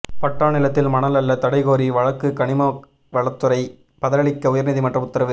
பட்டா நிலத்தில் மணல் அள்ள தடைகோரி வழக்குகனிம வளத்துறை பதிலளிக்க உயா்நீதிமன்றம் உத்தரவு